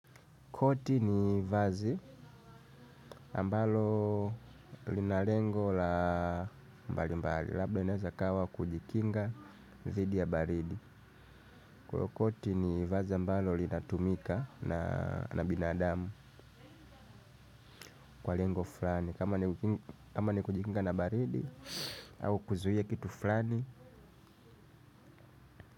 Koti ni vazi ambalo linalengo la mbali mbali. Labda inaweza kawa kujikinga thidi ya baridi. Kwa hio koti ni vazi ambalo linatumika na binadamu kwa lengo fulani. Kama ni kujikinga na baridi au kuzuia kitu flani.